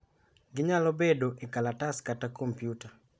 Ginyalo bedo e kalatas kata kompyuta.